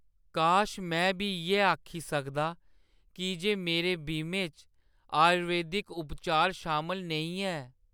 काश ! में बी इ'यै आखी सकदा की जे मेरे बीमे च आयुर्वेदिक उपचार शामल नेईं ऐ।